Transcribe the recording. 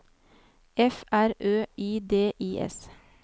F R Ø I D I S